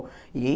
E aí?